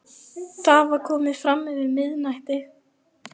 Það var komið fram yfir miðnætti.